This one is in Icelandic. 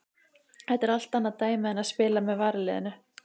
Þetta er allt annað dæmi en að spila með varaliðinu.